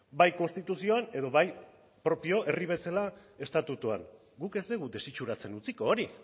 bai konstituzioan edo bai propio herri bezala estatutuan guk ez dugu desitxuratzen utziko hori